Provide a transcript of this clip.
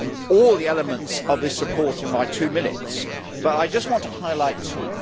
all the elements of this report in my two minutes, but I just want to highlight two.